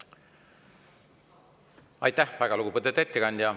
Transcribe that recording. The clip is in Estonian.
Aitäh, väga lugupeetud ettekandja!